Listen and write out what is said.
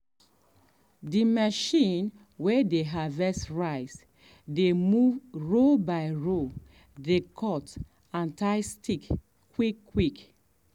the machine way dey harvest rice dey move row by row dey cut and tie stick quick quick.